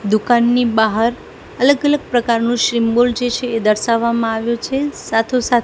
દુકાનની બાહર અલગ અલગ પ્રકારનુ શીમ્બોલ જે છે એ દર્શાવામાં આવ્યુ છે સાથો સાથ--